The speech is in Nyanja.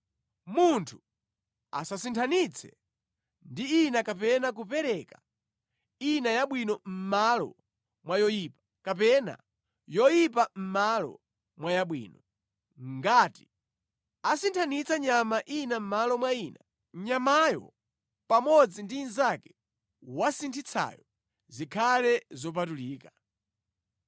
Munthu asasinthanitse ndi ina kapena kupereka ina yabwino mʼmalo mwa yoyipa, kapena yoyipa mʼmalo mwa yabwino. Ngati asinthitsa nyama ina mʼmalo mwa ina, nyamayo pamodzi ndi inzake wasinthitsayo zikhala zopatulika.